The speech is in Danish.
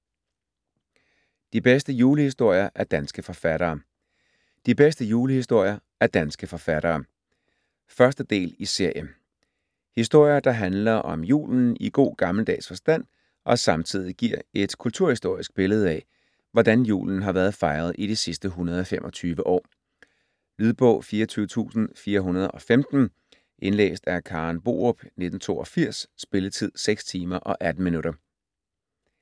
De bedste julehistorier af danske forfattere: De bedste julehistorier af danske forfattere 1. del i serie. Historier, der handler om julen i god gammeldags forstand, og samtidig giver et kulturhistorisk billede af, hvordan julen har været fejret i de sidste 125 år. Lydbog 24415 Indlæst af Karen Borup, 1982. Spilletid: 6 timer, 18 minutter.